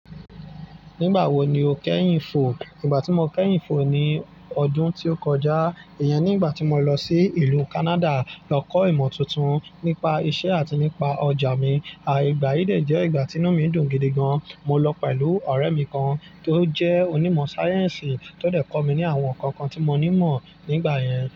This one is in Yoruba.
Nígbà wo ni o kẹ́yìn fò? Ígbà tí mo kẹ́yìn fò ni ọdún tí ó kọjá, ìyẹn nígbà tí mo lọ sí ìlú Canada lọ kọ́ ìmọ̀ tuntun nípa isẹ́ àti nípa ọjà mi. Igbà yí de jẹ́ ìgbà tí inú mi dùn gidi gan. Mo lọ pẹ̀lú ọ̀rẹ́ mi kan tó jẹ́ onímọ̀ sáyẹ́ǹsì tó dẹ̀ kọ́ mi ní àwọn nǹkan kan tí mo ní mọ̀ nígbà yẹn.